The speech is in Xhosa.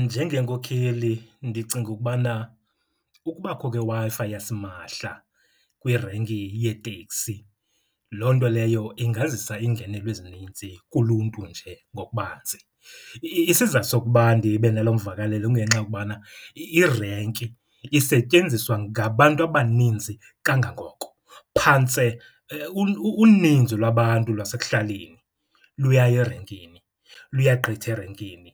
Njengenkokheli ndicinga ukubana ukubakho kweWi-Fi yasimahla kwirenki yeeteksi loo nto leyo ingazisa iingenelo ezinintsi kuluntu nje ngokubanzi. Isizathu sokuba ndibe naloo mvakalelo kungenxa yokubana irenki isetyenziswa ngabantu abaninzi kangangoko, phantse uninzi lwabantu lwasekuhlaleni luyaya erenkini, luyagqitha erenkini,